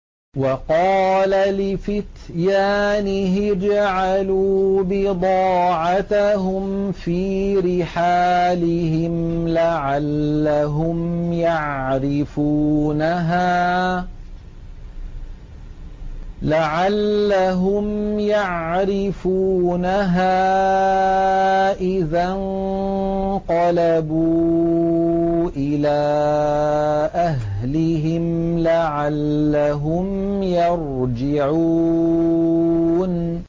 وَقَالَ لِفِتْيَانِهِ اجْعَلُوا بِضَاعَتَهُمْ فِي رِحَالِهِمْ لَعَلَّهُمْ يَعْرِفُونَهَا إِذَا انقَلَبُوا إِلَىٰ أَهْلِهِمْ لَعَلَّهُمْ يَرْجِعُونَ